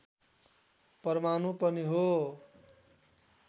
परमाणु पनि हो